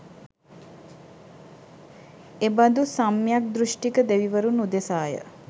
එබඳු සම්‍යග් දෘෂ්ටික දෙවිවරුන් උදෙසාය.